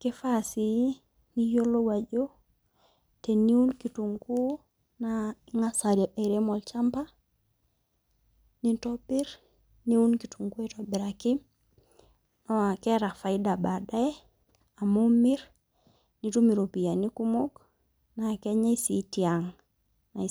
,kifaa sii niyiolou ajo teniun kitunguu naa ingas airem olchamba, nintobir niun kitunguu aitobiraki naa keeta faida baadaye amu imir nitum iropiyiani kumok naa kenyae sii tiang.